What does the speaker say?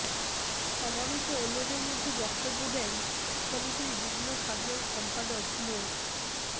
সমাবেশে অন্যদের মধ্যে বক্তব্য দেন সমিতির যুগ্ম সাধারণ সম্পাদক মো